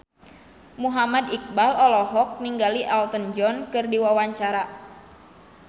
Muhammad Iqbal olohok ningali Elton John keur diwawancara